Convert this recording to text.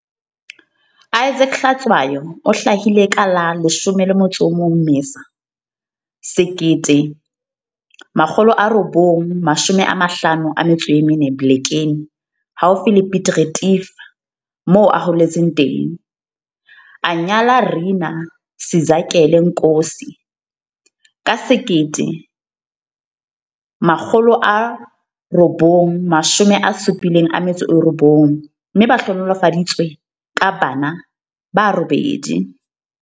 Isaac Hlatshwayo o hlahile ka la 11 Mmesa 1954 Blekeni haufi le Piet Retief moo a holetseng teng. A nyala Rinah Sizakele Nkosi ka 1979, mme ba hlohonolofaditswe ka bana ba robedi.